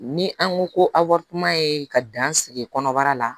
Ni an ko ko awa ye ka dan sigi kɔnɔbara la